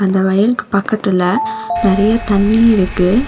அந்த வயலுக்கு பக்கத்துல நறைய தண்ணி இருக்கு.